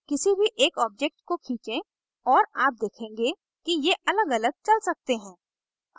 किसी भी एक objects को खींचें और आप देखेंगे कि ये अलगअलग चल सकते हैं